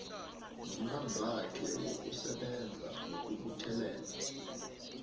nomlandwakhe wokusebenza nokubuthelela